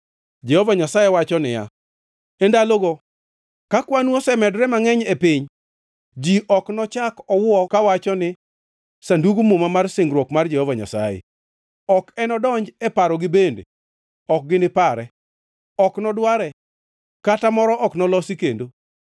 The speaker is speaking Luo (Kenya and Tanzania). Jehova Nyasaye wacho niya, “E ndalogo, kakwanu osemedore mangʼeny e piny, ji ok nochak owuo kawacho ni, ‘Sandug Muma mar singruok mar Jehova Nyasaye.’ Ok enodonji e parogi bende ok ginipare; ok nodware, kata moro ok nolosi kendo.